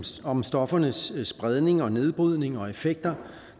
om stoffernes spredning og nedbrydning og effekter